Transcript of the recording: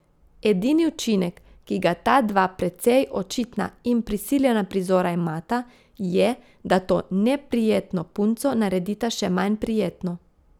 Edini učinek, ki ga ta dva precej očitna in prisiljena prizora imata, je, da to neprijetno punco naredita še manj prijetno.